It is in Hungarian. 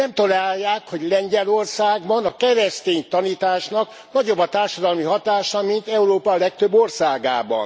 Nem tolerálják, hogy Lengyelországban a keresztény tanításnak nagyobb a társadalmi hatása, mint Európa legtöbb országában.